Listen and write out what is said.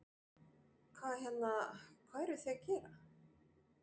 Hvað hérna, hvað eruð þið að gera?